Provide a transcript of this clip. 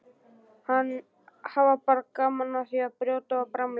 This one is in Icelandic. Hafa bara gaman af að brjóta og bramla.